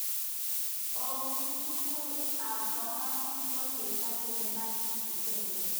Emotunwek ab kong asis kokitangeenech echeket.